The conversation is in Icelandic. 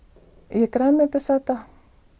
ég er grænmetisæta